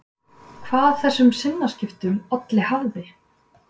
Hvað þessum sinnaskiptum olli hafði